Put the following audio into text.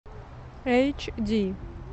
эйчди